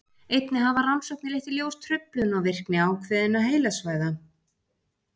einnig hafa rannsóknir leitt í ljós truflun á virkni ákveðinna heilasvæða